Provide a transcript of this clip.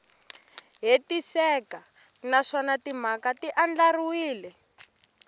hetiseka naswona timhaka ti andlariwile